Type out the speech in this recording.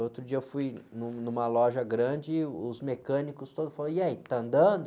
Outro dia eu fui num, numa loja grande, e os mecânicos todos falaram, e aí, tá andando?